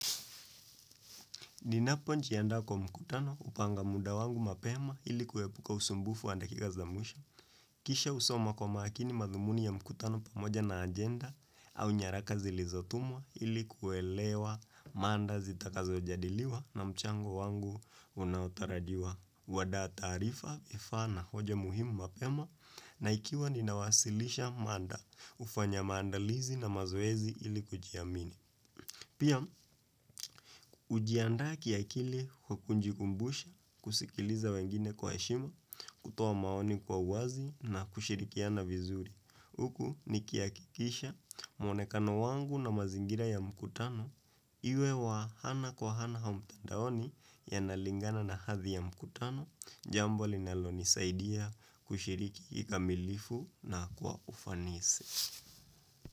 Ninapo njianda kwa mkutano hupanga muda wangu mapema ilikuepuka usumbufu wa dakikaza mwisho. Kisha husoma kwa makini madhumuni ya mkutano pamoja na ajenda au nyaraka zilizotumwa ilikuwelewa mada zitakazo jadiliwa na mchango wangu unaotarajiwa. Kunda taarifa, efana, hoja muhimu mapema na ikiwa ninawasilisha mada ufanya mandalizi na mazoezi ilikujiamini. Pia ujiandaki ya kili kwa kunjikumbusha, kusikiliza wengine kwa heshima, kutuoa maoni kwa uwazi na kushirikiana vizuri. Huku nikia kikisha mwonekano wangu na mazingira ya mkutano, iwe wa ana kwa ana haumtandaoni ya nalingana na hadhi ya mkutano, jambo linaloni saidia kushiriki kikamilifu na kwa ufanisi.